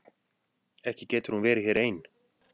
Ekki getur hún verið hér ein.